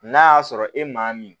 N'a y'a sɔrɔ e maa min